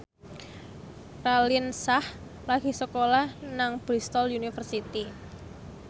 Raline Shah lagi sekolah nang Bristol university